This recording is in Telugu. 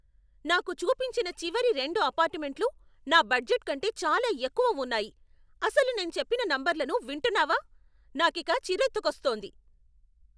నాకు చూపించిన చివరి రెండు అపార్టుమెంట్లు నా బడ్జెట్ కంటే చాలా ఎక్కువ ఉన్నాయి, అసలు నేను చెప్పిన నంబర్లను వింటున్నావా? నాకిక చిర్రెత్తుకొస్తోంది.